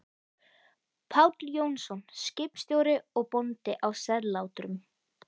Páll Jónsson, skipstjóri og bóndi, á Sellátrum.